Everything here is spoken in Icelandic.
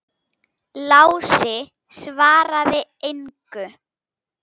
Lási svaraði engu.